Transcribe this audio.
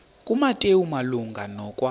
kumateyu malunga nokwa